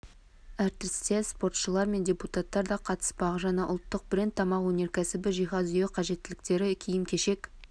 әртістер спортшылар мен депутаттар да қатыспақ жаңа ұлттық бренд тамақ өнеркәсібі жиһаз үй қажеттіліктері киім-кешек